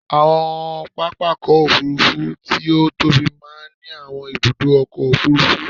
Àwọn pápákọ̀ òfúrufú tí ó tóbi máa ń ní àwọn ibùdó ọkọ̀ òfurufú.